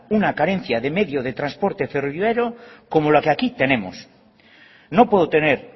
una carencia de medios de transporte ferroviario como la que aquí tenemos no puedo tener